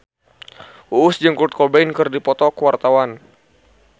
Uus jeung Kurt Cobain keur dipoto ku wartawan